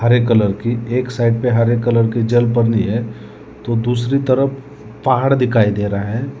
हरे colour की एक side पे हरे कलर की जल है तो दूसरी तरफ पहाड़ दिखाई दे रहा है।